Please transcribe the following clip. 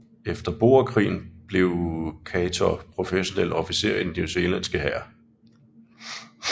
Efter boerkrigen blev Chaytor professionel officer i den newzealandske hær